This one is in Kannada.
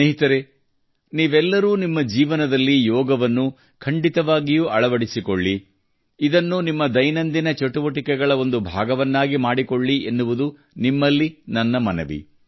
ಸ್ನೇಹಿತರೇ ನೀವೆಲ್ಲರೂ ನಿಮ್ಮ ಜೀವನದಲ್ಲಿ ಯೋಗವನ್ನು ಖಂಡಿತವಾಗಿಯೂ ಅಳವಡಿಸಿಕೊಳ್ಳಿ ಇದನ್ನು ನಿಮ್ಮ ದೈನಂದಿನ ಚಟುವಟಿಕೆಗಳ ಒಂದು ಭಾಗವನ್ನಾಗಿ ಮಾಡಿಕೊಳ್ಳಿ ಎನ್ನುವುದು ನಿಮ್ಮಲ್ಲಿ ನನ್ನ ಮನವಿ